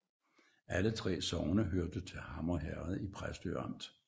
Alle 3 sogne hørte til Hammer Herred i Præstø Amt